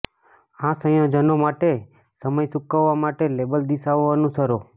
આ સંયોજનો માટે સમય સૂકવવા માટે લેબલ દિશાઓ અનુસરો